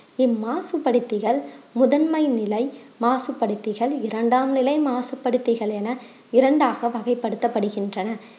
இம் மாசுபடுத்திகள் முதன்மை நிலை மாசுபடுத்திகள், இரண்டாம் நிலை மாசு படுத்திகள் என இரண்டாக வகைப்படுத்தப்படுகின்றன